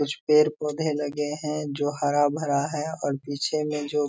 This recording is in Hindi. कुछ पेड़-पौधे लगे हैं जो हरा-भरा है और पीछे में जो --